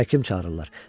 Həkim çağırırlar.